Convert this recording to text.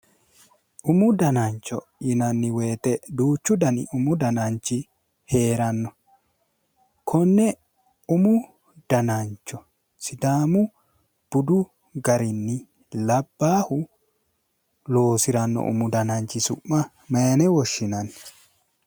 Umu danancho yinanni woyite duuchu dani umu dananchi heeranno. Konne umu danancho sidaamu budu garinni labbahu loosiranno umu dananchi su'ma mayine woshshinanni?